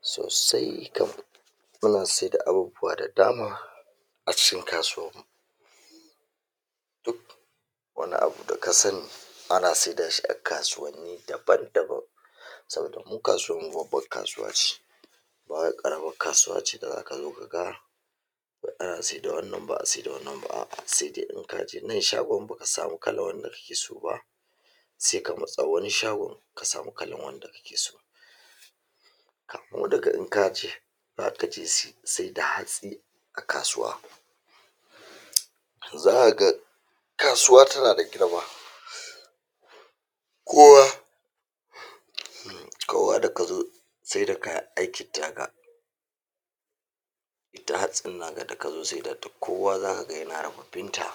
Sosai kam muna saida abubuwa da dama a cikin kasuwan mu duk wani abu da ka sani ana saida shi a kasuwanni daban-daban saboda mu kasuwan mu babban kasuwa ce ba wai ƙaramar kasuwa ce da zaka zo ka ga ana saida wannan ba'a saida wannan ba, a'a se dai in ka je nan shagon baka samu kalar wanda kake so ba se ka matsa wani shagon ka samu kalan wanda kake so zaka su saida hatsi a kasuwa za'a ga kasuwa tana da girma kowa kowa da kazo saida kaya da hatsin naka da ka zo saida duk kowa zaka ga yana rababin ta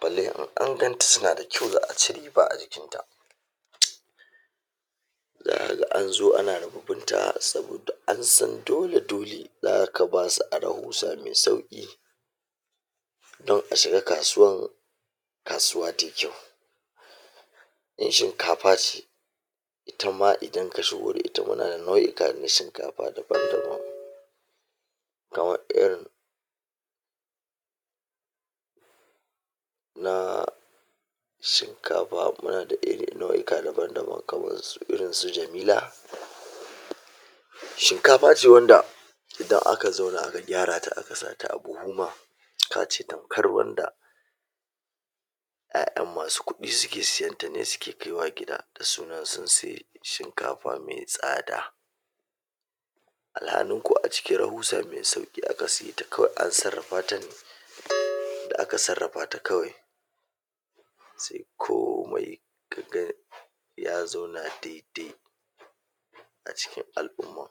balle in ganta suna da kyau za'a ci riba a jikin ta zaka ga an zo ana ribibin ta saboda an san dole-dole zaka ba su a rahusa me sauƙi don a shiga kasuwan kasuwa tayi kyau. In shinkafa ce ita ma idan ka shigo da ita muna da nau'ika na shinkafa daban-daban, kamar irin na shinkafa muna da iri nau'ika daban-daban kaman irin su Jamila; shinkafa ce wanda idan aka zauna aka gyara ta aka sa ta a buhu ma ka ce tamkar wanda ƴaƴan masu kuɗi suke siyan ta ne suke kaiwa gida da sunan sun sai shinkafa me tsada alhani kuwa a cikin rahusa me sauƙi aka siye ta kawai an sarrafa ta ne da aka sarrafa ta kawai se komai ka ga ya zauna dai-dai a cikin al'umma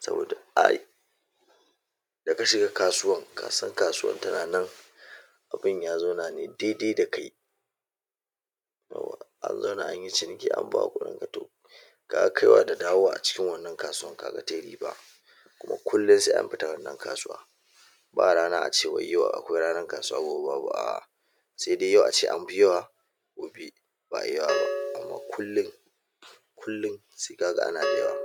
saboda ai da ka shiga kasuwan ka san kasuwan tana nan abun ya zauna ne dai-dai da kai, 'yawwa an zauna an yi ciniki an baka kuɗin ka to ka ga kaiwa da dawowa a cikin wannan kasuwan ka ga tai riba kuma kullum se an fita wannan kasuwa ba rana ace wai yau akwai ranar kasuwa gobe babu, a'a se dai yau ace an fi yawa gobe ba'a yi yawa ba amma kullum kullum se ka ga ana da yawa.